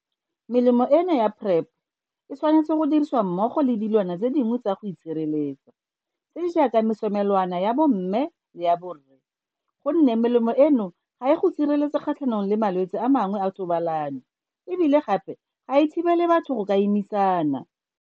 Melemo eno ya PrEP e tshwanetswe go dirisiwa mmogo le dilwana dingwe tsa go itshireletsa, tse di jaaka mesomelwana ya bomme le ya borre, go nne melemo eno ga e go sireletse kgatlhanong le malwetse a mangwe a thobalano e bile gape ga e thibele batho go ka imisana.